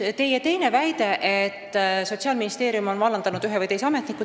Teie teine väide oli, et Sotsiaalministeerium on vallandanud ühe või teise ametniku.